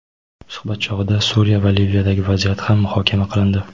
Suhbat chog‘ida Suriya va Liviyadagi vaziyat ham muhokama qilindi.